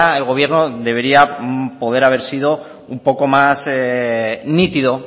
el gobierno debería poder haber sido un poco más nítido